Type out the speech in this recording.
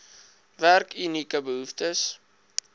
werk unieke behoeftes